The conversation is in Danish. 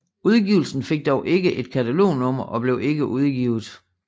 Udgivelsen fik dog ikke et katalognummer og blev ikke udgivet